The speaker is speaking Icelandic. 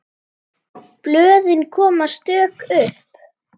Blöðin koma stök upp.